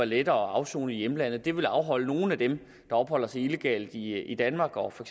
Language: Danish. lettere at afsone i hjemlandet det ville afholde nogle af dem der opholder sig illegalt i danmark og for